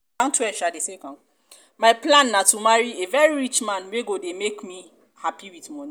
my plan na to marry a very rich man wey go dey make me happy with money